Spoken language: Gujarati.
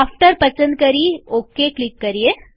આફ્ટર પસંદ કરીઓકે ક્લિક કરીએ